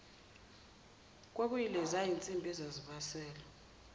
kwakuyileziya zinsimbi ezazibaselwa